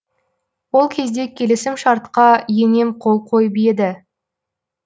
ол кезде келісімшартқа енем қол қойып еді